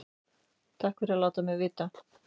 Takk fyrir að láta mig vita